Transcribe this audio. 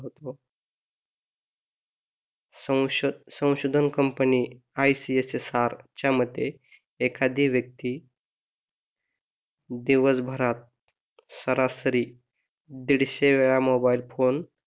संशोधक company ICHSR च्या मते एखादी व्यक्ती दिवसभरात सरासरी दीडशे वेळा मोबाइल फोन,